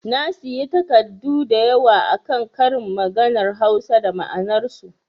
Na sayi takardu da yawa akan ƙarin maganar Hausa da ma'anar su